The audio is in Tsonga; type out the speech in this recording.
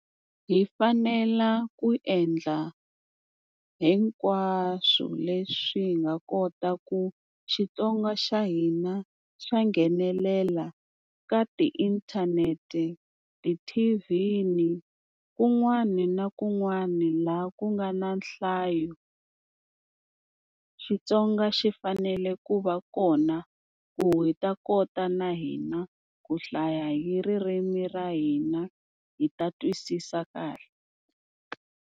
Hi fanela ku endla hinkwaswo leswi hi nga kota ku Xitsonga xa hina xa nghenelela ka tiinthanete, ti-T_V, kun'wani na kun'wani laha ku nga na nhlayo. Xitsonga xi fanele ku va kona ku hi ta kota na hina ku hlaya hi ririmi ra hina hi ta twisisa kahle.